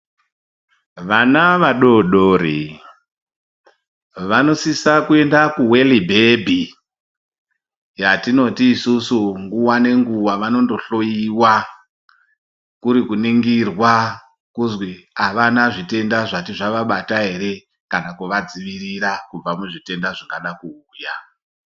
Vana vadodori vanosise kuende kuweli bhebhi yatinoti isusu nguwanenguwa vanondohloiwa kurikuringirwa kuzwi vana zvitenda zvati zvavabata ere kana kuvadzirira muzvitenda zvingada kuuya .